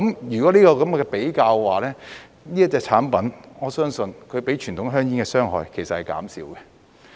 如果這樣比較的話，我相信這種產品的傷害是較傳統香煙減少了。